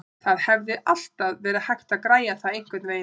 Það hefði alltaf verið hægt að græja það einhvernveginn.